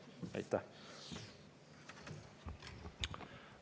Aitäh!